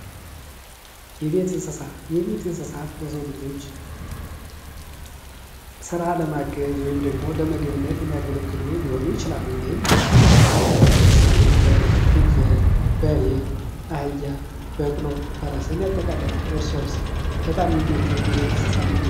የቤት እንስሳት የቤት እንስሳት ለሰው ልጆች ስራ ለማገዝ ወይም ደግሞ ለምግብነት የሚያገለግሉ ሊሆኑ ይችላሉ። እንይህም በጣም አስፈላጊ ናቸው። ለምሳሌ በግ፣ ፍየል፣ በሬ፣ አህያ በቅሎ ፈረስን የአጠቃልላል። እርሶስ በጣም የሚመችዎት የቤት እንስሳት ምንድን ነው።